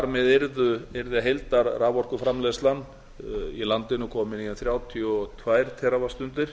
með yrði heildarraforkuframleiðslan í landinu komin í þrjátíu og tvö teravattstundir